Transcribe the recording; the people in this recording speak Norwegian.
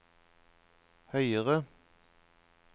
høyere